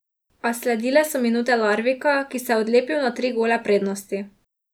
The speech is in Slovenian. A sledile so minute Larvika, ki se je odlepil na tri gole prednosti.